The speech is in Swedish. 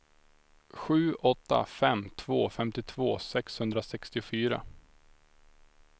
sju åtta fem två femtiotvå sexhundrasextiofyra